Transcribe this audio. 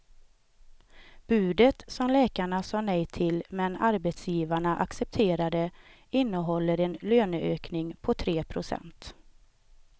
Budet, som läkarna sa nej till men arbetsgivarna accepterade, innehåller en löneökning på tre procent.